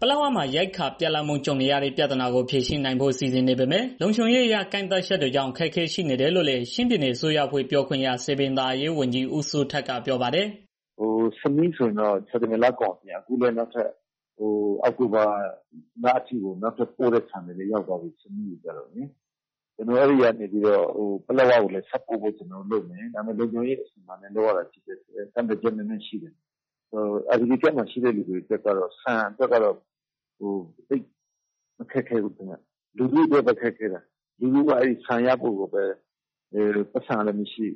ပလက်ဝမှာ ရိက္ခာပြတ်လပ်မှု ကြုံနေရတဲ့ ပြဿနာကို ဖြေရှင်းနိုင်ဖို့ စီစဉ်နေပေမဲ့ လုံခြုံရေးအရ ကန့်သတ်ချက်တွေကြောင့် အခက်အခဲ ရှိနေတယ်လို့လည်း ချင်းပြည်နယ်အစိုးရအဖွဲ့ ပြောခွင့်ရ စည်ပင်သာယာရေးဝန်ကြီး ဦးစိုးထက်ကပြောပါတယ်။ "မဆီးကိုကျတော့ ဆန်တွေရောက်သွားပြီ။ အဲဒီကနေ ပလက်ဝကိုပို့ဖို့ ကျနော်တို့လုပ်နေတယ်။ ဒါပေမဲ့ လုံခြုံရေး အစီအမံတွေနဲ့ လုပ်ရတာ ဖြစ်တဲ့အတွက် ကန့်သတ်ချက်နည်းနည်းရှိတယ်။ နောက် IDP ကန့်မှာရှိတဲ့ သူတွေအတွက်ကတော့ ဆန်ကတော့ သိပ်အခက်အခဲမရှိဘူး။ လူထုကပဲ ခက်ခဲတာ လူထုက ဆန်ရဖို့ကကိုပဲ ပိုက်ဆံကလည်း မရှိ၊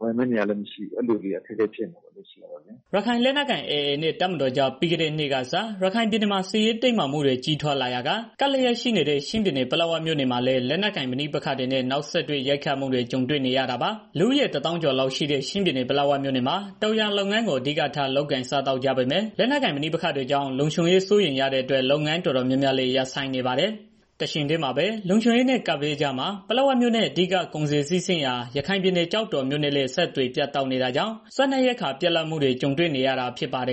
ဝယ်မယ့်နေရာကလည်း မရှိအဲဒီလိုဖြစ်နေတယ်။" ရခိုင်လက်နက်ကိုင်အဖွဲ့ AA နဲ့ တပ်မတော်ကြား ပြီးခဲ့တဲ့နှစ်ကစ ရခိုင်ပြည်နယ်မှာ စစ်ရေးတင်းမာမှုတွေ ကြီးထွားလာရာက ကပ်လျက်ရှိနေတဲ့ ချင်းပြည်နယ် ပလက်ဝမြို့မှာလည်း လက်နက်ကိုင်ပဋိပက္ခတွေနဲ့ နောက်ဆက်တွဲ ရိုက်ခတ်မှုတွေ ကြုံနေရတာပါ။ လူဦးရေ ၁၀၀,၀၀၀ ကျော်လောက်ရှိတဲ့ ချင်းပြည်နယ် ပလက်ဝမြို့နယ်မှာ တောင်ယာလုပ်ငန်းကို အဓိကထား လုပ်ကိုင်စားသောက်ကြပေမဲ့ လက်နက်ကိုင်ပဋိပက္ခတွေကြောင့် လုံခြုံရေးစိုးရိမ်ရတဲ့အတွက် လုပ်ငန်းတော်တော်များများလည်း ရပ်ဆိုင်းနေပါတယ်။ တချိန်တည်းမှာပဲ လုံခြုံရေးနဲ့ ကပ်ဘေးကြားမှာ ပလက်ဝမြို့နဲ့ အဓိက ကုန်စည်စီးဆင်းရာ ရခိုင်ပြည်နယ် ကျောက်တော်မြို့နဲ့လည်း အဆက်အသွယ်တွေ ပြတ်တောက်နေတာကြောင့် စားနပ်ရိက္ခာပြတ်လပ်မှုတွေ ကြုံနေရတာ ဖြစ်ပါတယ်